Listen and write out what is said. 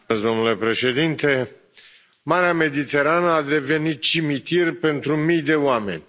Domnule președinte, Marea Mediterană a devenit cimitir pentru mii de oameni.